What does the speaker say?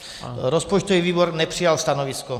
Rozpočtový výbor nepřijal stanovisko.